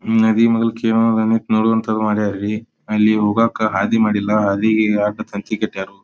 ನದಿ ಮೂಲಕ ಅಲ್ಲಿ ಹೋಗಾಕ ಹಾದಿ ಮಾಡಿಲ್ಲ ಹಾದಿಗಿ ಅಡ್ಡ ತಂತಿ ಕಟ್ಟೈತಿ.